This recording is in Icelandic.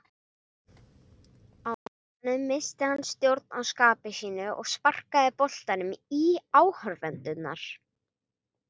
Á endanum missti hann stjórn á skapi sínu og sparkaði boltanum í áhorfendurna.